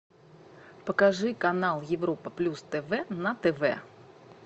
покажи канал европа плюс тв на тв